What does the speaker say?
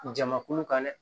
Jamakulu kan dɛ